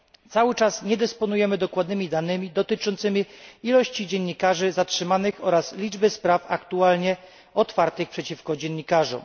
Cały czas nie dysponujemy dokładnymi danymi dotyczącymi liczby dziennikarzy zatrzymanych oraz liczby spraw aktualnie wytoczonych przeciwko dziennikarzom.